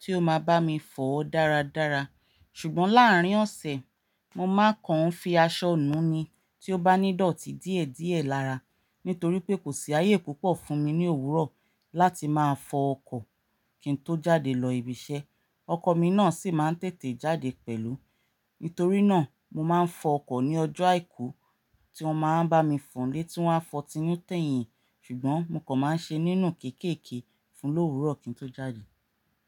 tí ó máa bá mi fọ̀ dáradára. Ṣùgbọ́n láàárín ọ̀sẹ̀, mo máa kan ń fi aṣọ nù ni tí ó bá nídọ̀tí díẹ̀díẹ̀ lára. Nítorí pé kò sí ayé púpọ̀ fún mi ní òwúrọ̀ láti máa fọ ọkọ̀ kí n tó jáde lọ ibi iṣẹ́. Ọkọ̀ mi náà sì máa ń tètè jáde pẹ̀lú. Nítorí náà mo máa ń fọ ọkọ̀ ní ọjọ́ àìkú tí wọ́n máa ń bá mi fọ̀ nílé tí wọ́n á fọ̀ tẹ́yìn. Ṣùgbọ́n mo kàn máa ń ṣe nínú kéékèèké fún lóru òwúrọ̀ kí n tó jáde.